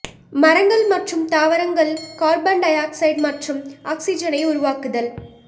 மரங்கள் மற்றும் தாவரங்கள் கார்பன் டை ஆக்சைடு மற்றும் ஆக்ஸிஜனை உருவாக்குதல்